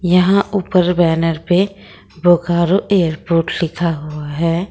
यहां ऊपर बैनर पे बोकारो एयरपोर्ट लिखा हुआ है।